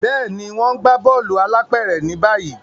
Béèni, wón n gbà bóòlù alápéré ni báyìí